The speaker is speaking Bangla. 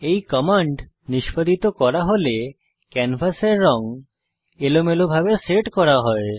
এই কমান্ড নিষ্পাদিত করা হলে ক্যানভাসের রঙ এলোমেলোভাবে সেট করা হয়